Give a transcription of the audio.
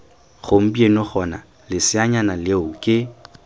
gompieno gona leseanyana leo ke